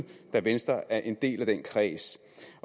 da venstre er en del af den kreds